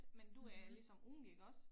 Men du er ligesom ung iggås